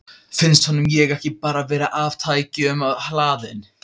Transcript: Finnst honum ég ekki bara vera of tækjum hlaðin?